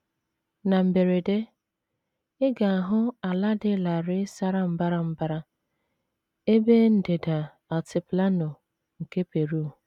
Na mberede, ị ga - ahụ ala dị larịị sara mbara mbara ebe ndịda Altiplano nke Peru.